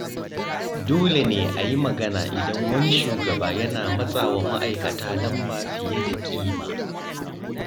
Dole ne a yi magana idan wani shugaba yana matsawa ma’aikata lamba fiye da ƙima.